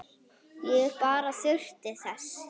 Ég bara þurfti þess.